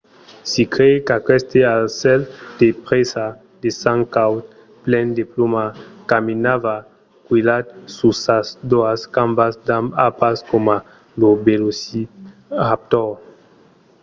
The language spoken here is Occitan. se crei qu’aqueste aucèl de presa de sang caud plen de plumas caminava quilhat sus sas doas cambas amb d’arpas coma lo velociraptor